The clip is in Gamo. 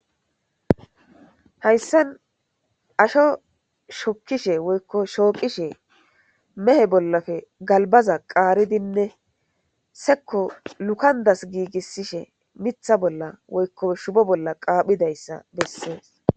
Hayssan asho shokkishe woykko shooqishe mehe bollafe galbaza qaaridinne sekko lukandas giigissishe mitha bolla woykko shubo bolla qaaphidayssa bessees.